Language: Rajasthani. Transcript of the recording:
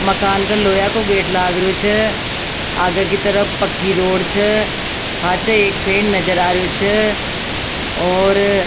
मकान का लोहा का गेट लाग रेहो छे आगे की तरफ पक्की रोड छ पाछे एक पेड़ नजर आ रेहो छ और --